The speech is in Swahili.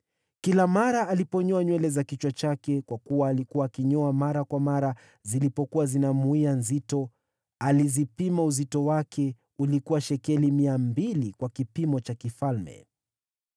Kila mara aliponyoa nywele za kichwa chake, kwa kuwa alikuwa akinyoa mara kwa mara zilipokuwa zinamwia nzito, alizipima uzito wake ulikuwa shekeli mia mbili kwa kipimo cha kifalme.